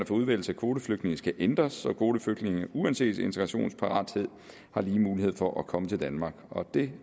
for udvælgelse af kvoteflygtninge skal ændres så kvoteflygtninge uanset integrationsparathed har lige muligheder for at komme til danmark og det